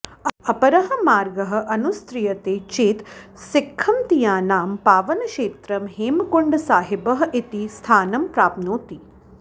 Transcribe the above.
अपरः मार्गः अनुस्रियते चेत् सिख्खमतीयानां पावनक्षेत्रं हेमकुण्डसाहीबः इति स्थानं प्राप्नोति